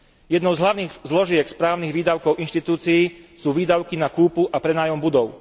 Jednou z hlavných zložiek správnych výdavkov inštitúcií sú výdavky na kúpu a prenájom budov.